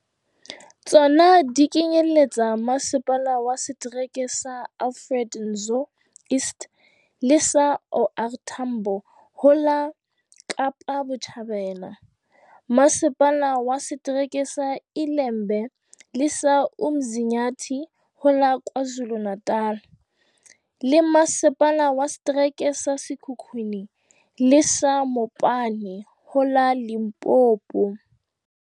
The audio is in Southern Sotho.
Tsona di kenyelletsa Masepala wa Setereke sa Alfred Nzo East le sa OR Tambo ho la Kapa Botjhabela, Masepala wa Se tereke sa ILembe le sa UMzi nyathi ho la KwaZulu-Na tal, le Masepala wa Setereke sa Sekhukhune le sa Mopani ho la Limpopo.